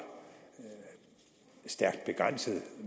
stærkt begrænset